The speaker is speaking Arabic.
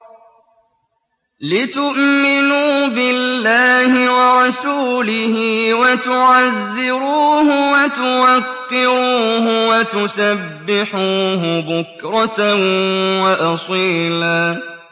لِّتُؤْمِنُوا بِاللَّهِ وَرَسُولِهِ وَتُعَزِّرُوهُ وَتُوَقِّرُوهُ وَتُسَبِّحُوهُ بُكْرَةً وَأَصِيلًا